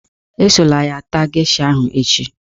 Esola ya taa gesha ahụ echi